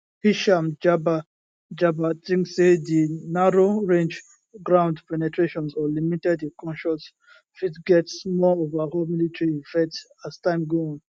hisham jaber jaber tink say di narrowrange ground penetrations or limited incursions fit get small overall military effect as time go on